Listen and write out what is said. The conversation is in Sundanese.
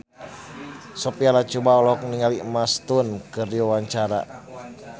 Sophia Latjuba olohok ningali Emma Stone keur diwawancara